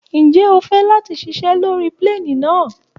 Ǹjẹ́ o fẹ́ láti ṣiṣé lórí plane náà?